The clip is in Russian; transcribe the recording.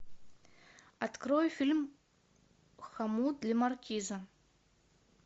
открой фильм хомут для маркиза